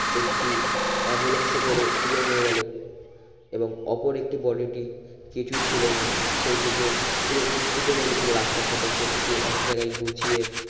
একটি ambulance এ করে তুলে নিয়ে গেলো এবং অপর একটি body টি কিছুই ছিলো না সেই টিকে পুরো পৃষ্ঠিত হয়ে গেছিলো রাস্তার সাথে সেটিকে এক জায়গায় গুছিয়ে